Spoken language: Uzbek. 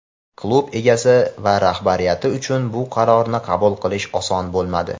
Klub egasi va rahbariyati uchun bu qarorni qabul qilish oson bo‘lmadi.